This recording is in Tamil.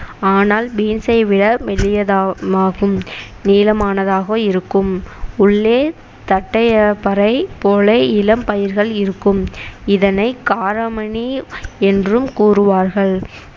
ஆனால் பீன்சை விட மெல்லியதாகும் நீளமானதாக இருக்கும் உள்ளே தட்டையப்பறை போலே இளம் பயிர்கள் இருக்கும் இதனை காராமணி என்றும் கூறுவார்கள்